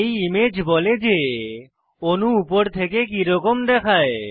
এই ইমেজ বলে যে অণু উপর থেকে কিরকম দেখায়